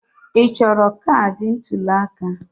Ị chọrọ kaadị ntuli aka?